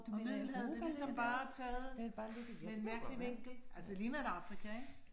Og Middelhavet det ligesom bare taget med en mærkelig vinkel. Altså det liger da Afrika, ik?